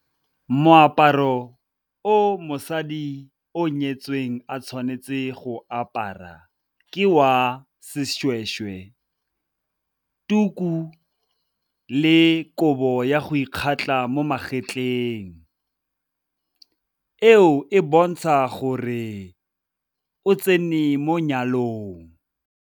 Moaparo o mosadi o nyetsweng a tshwanetse go apara ke wa seshweshwe, tuku le kobo ya go ikgatla mo magetleng, eo e bontsha gore o tsene mo nyalong.